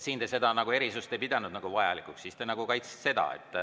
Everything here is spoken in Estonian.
Siis te seda erisust ei pidanud vajalikuks, siis te kaitsesite seda.